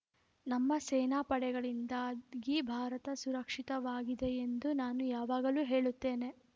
ನಮ್ಮ ಸೇನಾ ಪಡೆಗಳಿಂದಾಗಿ ಭಾರತ ಸುರಕ್ಷಿತವಾಗಿದೆ ಎಂದು ನಾನು ಯಾವಾಗಲೂ ಹೇಳುತ್ತೇನೆ